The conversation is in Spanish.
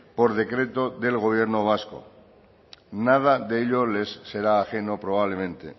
por decreto del gobierno vasco nada de ello les será ajeno probablemente